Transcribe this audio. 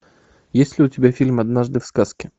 есть ли у тебя фильм однажды в сказке